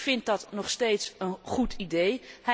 Ik vind dat nog steeds een goed idee.